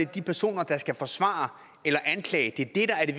de personer der skal være forsvarere eller anklagere det